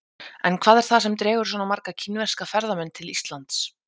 En hvað er það sem dregur svona marga kínverska ferðamenn til Íslands?